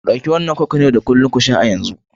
Ɗauki wannan coke na yau da kullun ku sha a yanzu!